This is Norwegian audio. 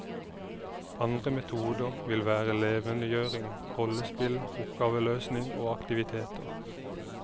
Andre metoder vil være levendegjøring, rollespill, oppgaveløsning og aktiviteter.